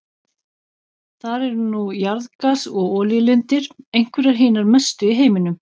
Þar eru nú jarðgas- og olíulindir, einhverjar hinar mestu í heiminum.